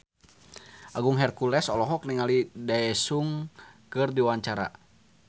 Agung Hercules olohok ningali Daesung keur diwawancara